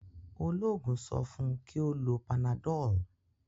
oloogun so fun kí o ló Panadol.